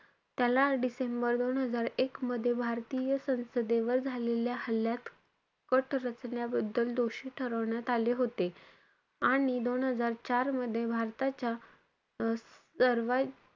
त्याला डिसेंबर दोन हजार एक मध्ये, भारतीय संसदेवर झालेल्या हल्लात, कट रचण्याबद्दल दोषी ठरवण्यात आले होते. आणि दोन हजार चार मध्ये भारताच्या अं सर्वात,